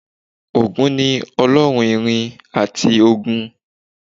Ògún ni Ọlọ́run ìrìn àti ogun